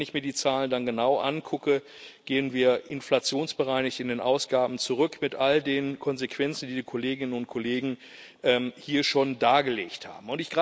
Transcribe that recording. Wenn ich mir die Zahlen dann genau angucke, gehen wir inflationsbereinigt in den Ausgaben zurück, mit all den Konsequenzen, die die Kolleginnen und Kollegen hier schon dargelegt haben.